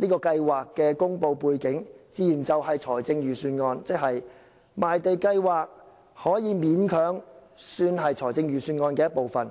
這項計劃的公布背景，自然就是預算案，即賣地計劃可以勉強算是預算案的一部分，